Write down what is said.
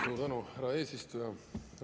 Suur tänu, härra eesistuja!